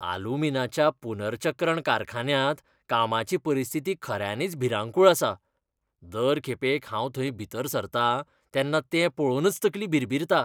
आलुमीनाच्या पुनर्चक्रण कारखान्यांत कामाची परिस्थिती खऱ्यांनीच भिरांकूळ आसा. दर खेपेक हांव थंय भितर सरतां तेन्ना तें पळोवनच तकली भिरभिरता.